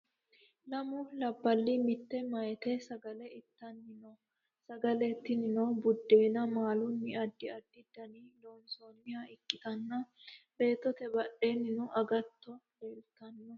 Lammu labbali mitte meeyati sagale ittani noo. Saggale tinnino buddena maaluni addi addi Dana loonisoniha ikkittana beettote badhenino aggatto leelitano